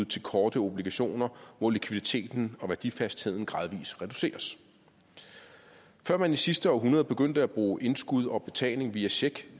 til korte obligationer hvor likviditeten og værdifastheden gradvis reduceres før man i sidste århundrede begyndte at bruge indskud og betaling via check